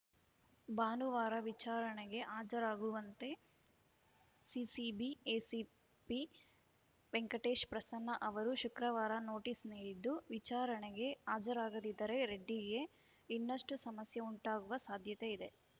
ಭಾನುವಾರ ವಿಚಾರಣೆಗೆ ಹಾಜರಾಗುವಂತೆ ಸಿಸಿಬಿ ಎಸಿಪಿ ವೆಂಕಟೇಶ್‌ ಪ್ರಸನ್ನ ಅವರು ಶುಕ್ರವಾರ ನೋಟಿಸ್‌ ನೀಡಿದ್ದು ವಿಚಾರಣೆಗೆ ಹಾಜರಾಗದಿದ್ದರೆ ರೆಡ್ಡಿಗೆ ಇನ್ನಷ್ಟುಸಮಸ್ಯೆ ಉಂಟಾಗುವ ಸಾಧ್ಯತೆಯಿದೆ